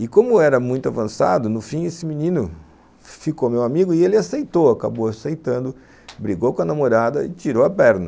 E como era muito avançado, no fim esse menino ficou meu amigo e ele aceitou, acabou aceitando, brigou com a namorada e tirou a perna.